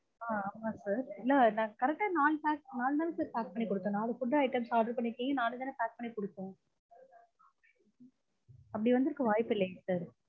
ஆஹ் ஆமா sir இல்ல நாங்க correct ஆ நாலு pack நாலு தான் sir pack பண்ணிக்கொடுத்தேன். நாலு food items order பண்ணிஇருக்கீங்க நாலு தானே pack பண்ணிக்கொடுத்தேன். அப்படி வந்திருக்க வாய்ப்பில்லைங்க sir